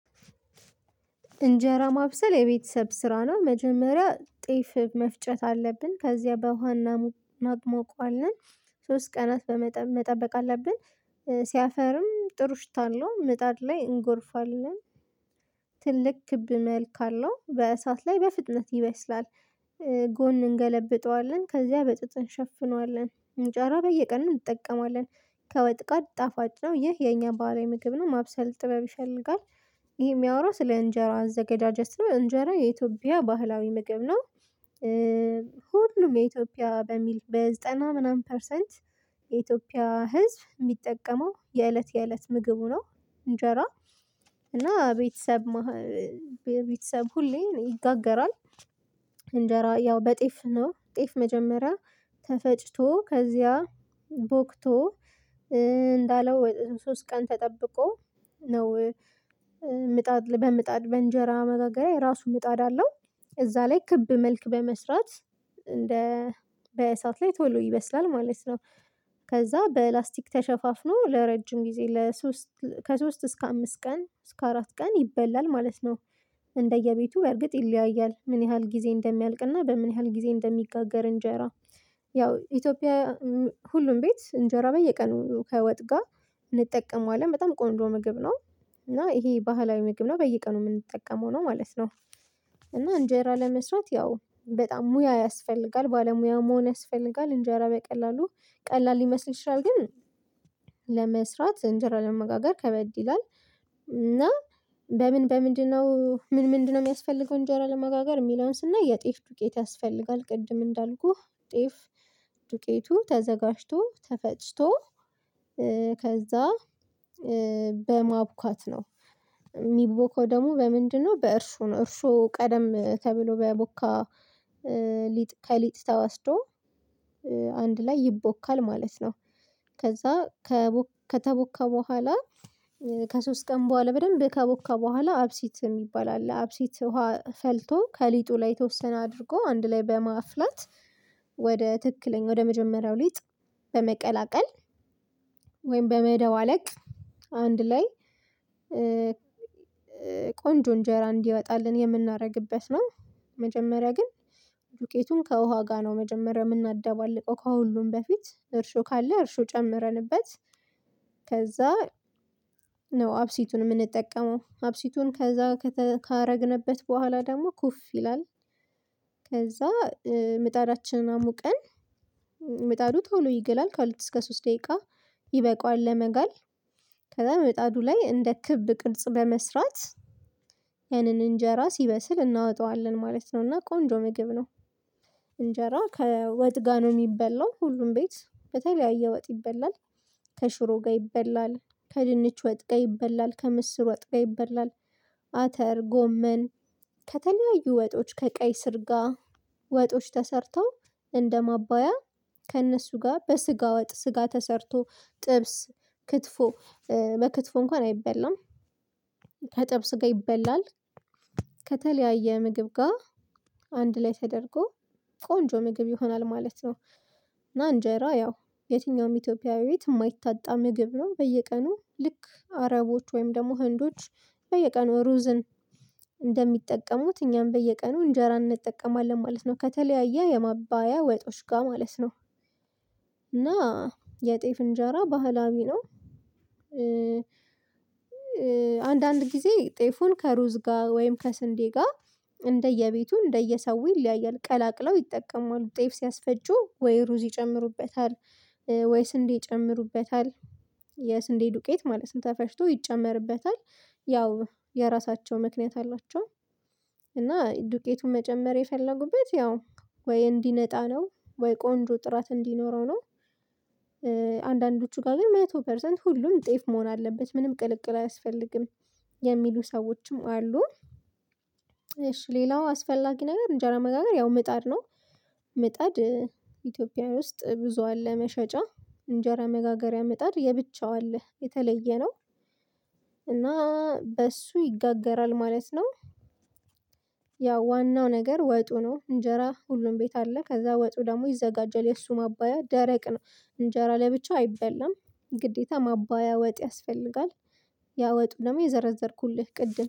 እንጀራ ማብሰል የቤተሰብ ስራ ነው መጀመሪያ ጤፍ መፍጨት አለብን ከዚያ በውሃ እናሞቅ ማግሞቋልን ሶስት ቀናት በመጠ መጠበቅ አለብን። ሲያፈርም ጥሩ ሽታ አለው ምጣድ ላይ እንጎርፋለን። ትልቅ ክብ መልክ አለው በእሳት ላይ በፍጥነት ይበስላል። ጎን እንገለብጠዋለን ከዚያ በጥጥ እንሸፍነዋለን እንጀራ በየቀኑ እንጠቀማለን። ከወጥ ጋር ጣፋጭ ነው ይህ የኛ ባህላዊ ምግብ ነው። ማብሰል ጥበብ ይፈልጋል። ይህ የሚያወራው ስለ እንጀራ አዘገጃጀት ነው። እንጀራ የኢትዮጵያ ባህላዊ ምግብ ነው። ሁሉም የኢትዮጵያ በሚል በዘጠና ምናምን ፐርሰንት የኢትዮጵያ ህዝብ የሚጠቀመው የእለት የእለት ምግቡ ነው። እንጀራ እና ቤተሰብ መሃ ቤተሰብ ሁሌ ይጋገራል። እንጀራ ያው በጤፍ ነው። ጤፍ መጀመሪያ ተፈጭቶ ከዚያ ቦክቶ እንዳለው ሶስት ቀን ተጠብቆ ነው። ምጣድ በምጣድ በእንጀራ መጋገሪያ የራሱ ምጣድ አለው። እዛ ላይ ክብ መልክ በመስራት እንደ በእሳት ላይ ተሎ ይበስላል ማለት ነው። ከዛ በላስቲክ ተሸፋፍኖ ለረጅም ጊዜ ለሶስት ከሶስት እስከ አምስት ቀን እስከ አራት ቀን ይበላል ማለት ነው። እንደየቤቱ በእርግጥ ይለያያል ምን ያህል ጊዜ እንደሚያልቅ እና በምን ያህል ጊዜ እንደሚጋገር እንጀራ? ያው ኢትዮጵያ ሁሉም ቤት እንጀራ በየቀኑ ከወጥ ጋር እንጠቀመዋለን በጣም ቆንጆ ምግብ ነው። እና ይሄ ባህላዊ ምግብ ነው በየቀኑ የምንጠቀመው ነው ማለት ነው። እና እንጀራ ለመስራት ያው በጣም ሙያ ያስፈልጋል ባለሙያ መሆን ያስፈልጋል እንጀራ በቀላሉ ቀላል ሊመስል ይችላል ግን ለመስራት እንጀራ ለመጋገር ከበድ ይላል። እና በምን በምንድነው ምን ምንድነው የሚያስፈልገው? እንጀራ ለመጋገር የሚለውን ስናይ የጤፍ ዱቄት ያስፈልጋል ቅድም እንዳልኩህ ጤፍ ዱቄቱ ተዘጋጅቶ ተፈጭቶ ከዛ በማብኳት ነው። የሚቦካው ደግሞ በምንድነው በእርሾ ነው። እርሾ ቀደም ተብሎ በቦካ ሊጥ ከሊጥ ተወስዶ አንድ ላይ ይቦካል ማለት ነው። ከዛ ከተቦካ በኋላ ከሶስት ቀን በኋላ በደንብ ከቦካ በኋላ አብሲት የሚባል አለ አብሲት ውሃ ፈልቶ ከሊጡ ላይ የተወሰነ አድርጎ አንድ ላይ በማፍላት ወደ ትክክለኛ ወደ መጀመሪያው ሊጥ በመቀላቀል ወይም በመደባለቅ አንድ ላይ ቆንጆ እንጀራ እንዲወጣልን የምናደርግበት ነው። መጀመሪያ ግን ዱቄቱን ከውሃ ጋር ነው መጀመሪያ የምናደባልቀው ከሁሉም በፊት እርሾ ካለ እርሾ ጨምረንበት ከዛ ነው አብሲቱን የምንጠቀመው አብሲቱን ከዛ ካረግንበት በኋላ ደግሞ ኩፍ ይላል። ከዛ ምጣዳችንን አሙቀን ምጣዱ ቶሎ ይግላል ከሁለት እስከ ሶስት ደቂቃ ይበቃዋል ለመጋል። ከዛ ምጣዱ ላይ እንደ ክብ ቅርጽ በመስራት ያንን እንጀራ ሲበስል እናወጣዋለን ማለት ነው። እና ቆንጆ ምግብ ነው። እንጀራ ከወጥ ጋር ነው የሚበላው ሁሉም ቤት በተለያየ ወጥ ይበላል። ከሽሮ ጋር ይበላል ከድንች ወጥ ጋር ይበላል ከምስር ወጥ ጋር ይበላል። አተር ጎመን ከተለያዩ ወጦች ከቀይ ስር ጋር ወጦች ተሰርተው እንደማባያ ከእነሱ ጋር በስጋ ወጥ ስጋ ተሰርቶ ጥብስ ክትፎ በክትፎ እንኳን አይበላም። ከጥብስ ጋር ይበላል። ከተለያየ ምግብ ጋር አንድ ላይ ተደርጎ ቆንጆ ምግብ ይሆናል ማለት ነው። እና እንጀራ ያው የትኛውም ኢትዮጵያዊ ቤት የማይታጣ ምግብ ነው በየቀኑ ልክ አረቦች ወይም ደግሞ ህንዶች። በየቀኑ ሩዝን እንደሚጠቀሙት እኛም በየቀኑ እንጀራ እንጠቀማለን ማለት ነው። ከተለያየ የማባያ ወጦች ጋር ማለት ነው። እና የጤፍ እንጀራ ባህላዊ ነው። አንዳንድ ጊዜ ጤፉን ከሩዝ ጋር ወይም ከስንዴ ጋር እንደየቤቱ እንደየሰው ይለያያል ቀላቅለው ይጠቀማሉ ጤፍ ሲያስፈጩ ወይ ሩዝ ይጨምሩበታል። ወይ ስንዴ ይጨምሩበታል። የስንዴ ዱቄት ማለት ተፈጭቶ ይጨመርበታል ያው የራሳቸው ምክንያት አላቸው። እና ዱቄቱን መጨመር የፈለጉበት ያው ወይ እንዲነጣ ነው ወይ ቆንጆ ጥራት እንዲኖረው ነው። አንዳንዶቹ ጋር ግን መቶ ፐርሰንት ሁሉም ጤፍ መሆን አለበት ምንም ቅልቅል አያስፈልግም። የሚሉ ሰዎችም አሉ። እሺ ሌላው አስፈላጊ ነገር እንጀራ መጋገር ያው ምጣድ ነው። ምጣድ ኢትዮጵያዊ ውስጥ ብዙ አለ መሸጫ እንጀራ መጋገሪያ ምጣድ የብቻው አለ የተለየ ነው። እና በእሱ ይጋገራል ማለት ነው። ያው ዋናው ነገር ወጡ ነው እንጀራ ሁሉም ቤት አለ ከዛ ወጡ ደግሞ ይዘጋጃል የእሱ ማባያ ደረቅ ነው። እንጀራ ለብቻው አይበላም። ግዴታ ማባያ ወጥ ያስፈልጋል። ያወጡ ደግሞ የዘረዘርኩልህ ቅድም